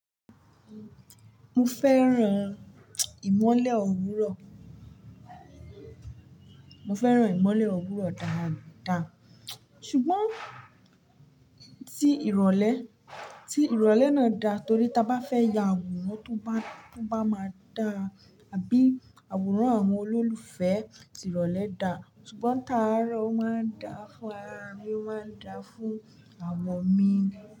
Mo fẹ́ràn ìmọ́lẹ̀ òwúrọ̀, mo fẹ́ràn ìmọ́lẹ̀ òwúrọ̀ dáadáa, ṣùgbọ́n tí ìrọ̀lẹ́, tí ìrọ̀lẹ́ náà da torí tí a bá fẹ́ ya àwòrán tó bá, tó bá máa dára àbí àwòrán àwọn olólùfẹ́ tìrọ̀lẹ́ da ṣùgbọ́n tààrọ o ma n da fún wa, a máa ń da fún àwọ mi.